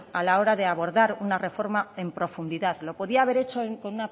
a la hora de abordar una reforma en profundidad lo podía haber hecho con